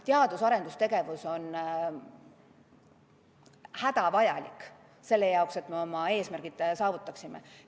Teadus- ja arendustegevus on hädavajalik selle jaoks, et me oma eesmärgid saavutaksime.